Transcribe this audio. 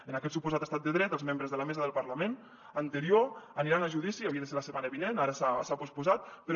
en aquest suposat estat de dret els membres de la mesa del parlament anterior aniran a judici havia de ser la setmana vinent ara s’ha posposat però